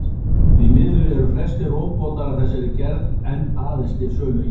Því miður eru flestir róbótar af þessari gerð enn aðeins til sölu í Japan.